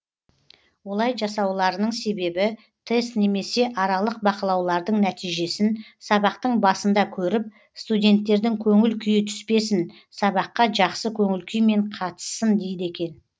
олай жасауларының себебі тест немесе аралық бақылаулардың нәтижесін сабақтың басында көріп студенттердің көңіл күйі түспесін сабаққа жақсы көңіл күймен қатыссын дейді екен